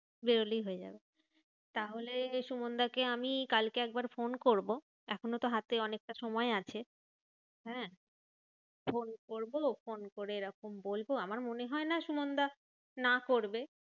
বেরোলেই হয়ে যাবে। তাহলে সুমানদা কে আমি কালকে একবার ফোন করবো। এখনোতো হাতে অনেকটা সময় আছে। হ্যাঁ ফোন করবো ফোন করে এরকম বলবো, আমার মনে হয়না সুমানদা না করবে।